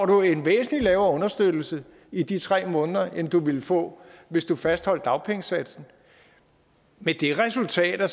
du en væsentlig lavere understøttelse i de tre måneder end du ville få hvis du fastholdt dagpengesatsen med det resultat at